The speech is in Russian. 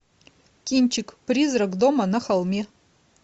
кинчик призрак дома на холме